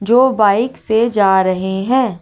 जो बाइक से जा रहे हैं।